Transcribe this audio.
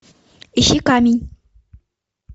ищи камень